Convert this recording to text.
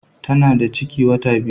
Tana da ciki wata biyu